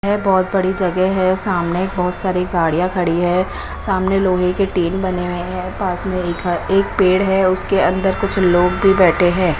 यह बहोत बड़ी जगह है सामने एक बहुत सारी गाड़ियाँ खड़ी हैं सामने लोहे के टीन बने हुए हैं पास में एक ह एक पेड़ हैं उसके अंदर कुछ लोग भीं बैठे हैं।